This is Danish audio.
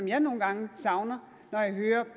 jeg nogle gange savner